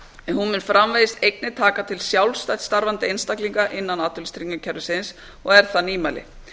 en hún mun framvegis einnig taka til sjálfstætt starfandi einstaklinga innan atvinnuleysistryggingakerfisins og er það nýmæli